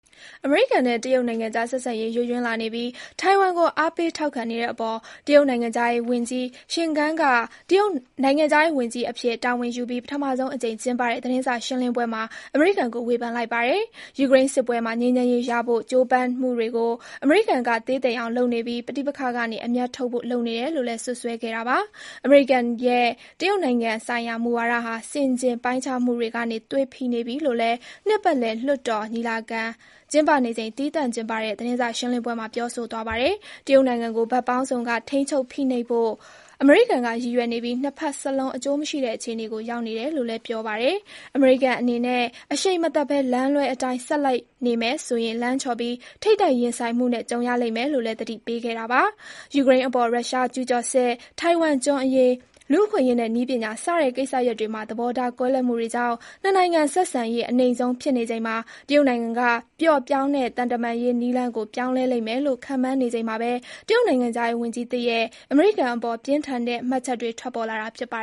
အမေရိကန်နဲ့ တရုတ်နိုင်ငံကြား ဆက်ဆံရေး ယိုယွင်းလာနေပြီး၊ ထိုင်ဝမ်ကို အားပေးထောက်ခံနေတဲ့အပေါ် တရုတ်နိုင်ငံခြားရေးဝန်ကြီး Qin Gang က နိုင်ငံခြားရေးဝန်ကြီးအဖြစ် တာဝန်ယူပြီး ပထမဆုံးအကြိမ်ကျင်းပတဲ့ သတင်းစာရှင်းလင်းပွဲမှာ အမေရိကန်ကို ဝေဖန်လိုက်ပါတယ်။ ယူကရိန်းစစ်ပွဲမှာ ငြိမ်းချမ်းရေးရဖို့ ကြိုးပမ်းမှုတွေကို အမေရိကန်က သေးသိမ်အောင်လုပ်နေပြီး၊ ပဋိပက္ခကနေ အမြတ်ထုတ်ဖို့ လုပ်နေတယ်လို့လည်း စွပ်စွဲခဲ့တာပါ။ အမေရိကန်ရဲ့ တရုတ်နိုင်ငံဆိုင်ရာ မူဝါဒဟာ ဆင်ခြင်ပိုင်းခြားမှုတွေကနေ သွေဖီနေပြီလို့လည်း နှစ်ပတ်လည် လွှတ်တော်ညီလာခံ ကျင်းပနေချိန် သီးသန့်ကျင်းပတဲ့ သတင်းစာရှင်းလင်းပွဲမှာ ပြောဆိုသွားပါတယ်။ တရုတ်နိုင်ငံကို ဖက်ပေါင်းစုံက ထိန်းချုပ်ဖိနှိပ်ဖို့ အမေရိကန်က ရည်ရွယ်နေပြီး၊ ၂ ဖက်စလုံး အကျိုးမရှိတဲ့ အခြေအနေကို ရောက်နေတယ်လို့လည်း ပြောပါတယ်။ အမေရိကန်အနေနဲ့ အရှိန်မသတ်ဘဲ လမ်းလွဲအတိုင်း ဆက်လိုက်နေမယ်ဆိုရင် လမ်းချော်ပြီး၊ ထိပ်တိုက်ရင်ဆိုင်မှုနဲ့ ကြုံရလိမ့်မယ်လို့လည်း သတိပေးခဲ့တာပါ။ ယူကရိန်းအပေါ် ရုရှားကျုးကျော်စစ်၊ ထိုင်ဝမ်ကျွန်းအရေး၊ လူ့အခွင့်အရေးနဲ့ နည်းပညာစတဲ့ ကိစ္စရပ်တွေမှာ သဘောထားကွဲလွဲမှုတွေကြောင့် ၂ နိုင်ငံ ဆက်ဆံရေး အနိမ့်ဆုံးဖြစ်နေချိန်မှာ တရုတ်နိုင်ငံက ပျော့ပြောင်းတဲ့ သံတမန်ရေး နည်းလမ်းကို ပြောင်းလဲလိမ့်မယ်လို့ ခန့်မှန်းနေချိန်မှာပဲ တရုတ်နိုင်ငံခြားရေး ဝန်ကြီးသစ်ရဲ့ အမေရိကန်အပေါ် ပြင်းထန်တဲ့ မှတ်ချက်တွေ ထွက်ပေါ်လာတာ ဖြစ်ပါ